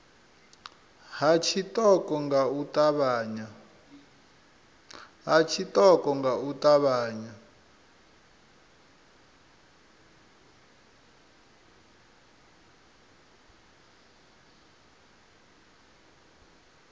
ha tshiṱoko nga u ṱavhanya